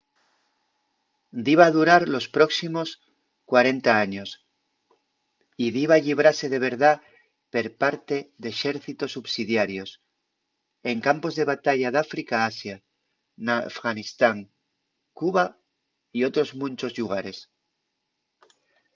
diba durar los próximos 40 años y diba llibrase de verdá per parte d’exércitos subsidiarios en campos de batalla d’áfrica a asia n’afganistán cuba y otros munchos llugares